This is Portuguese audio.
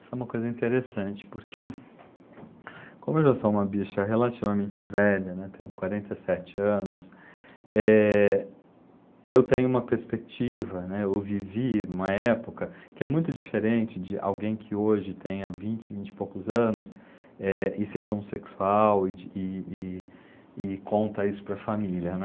Isso é uma coisa interessante, porque como eu já sou uma bicha relativamente velha, né, tenho quarenta e sete anos, eh, eu tenho uma perspectiva, né, eu vivi numa época que é muito diferente de alguém que hoje tenha vinte, vinte e poucos anos, eh, e seja homossexual e de e e e conta isso para a família, né?